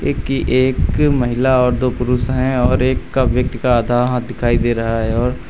एक कि एक महिला और दो पुरुष हैं और एक का व्यक्ति का आधा हाथ दिखाई दे रहा है और--